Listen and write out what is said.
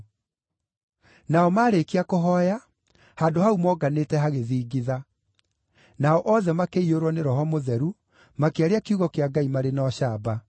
Nao maarĩkia kũhooya, handũ hau moonganĩte hagĩthingitha. Nao othe makĩiyũrwo nĩ Roho Mũtheru, makĩaria kiugo kĩa Ngai marĩ na ũcamba.